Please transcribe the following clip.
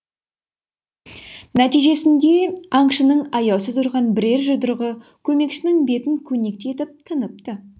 нәтижесінде аңшының аяусыз ұрған бірер жұдырығы көмекшінің бетін көнектей етіп тыныпты